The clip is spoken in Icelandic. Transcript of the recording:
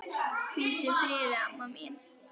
Hvíldu í friði, amma mín.